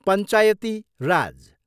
पञ्चायती राज।